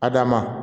Adama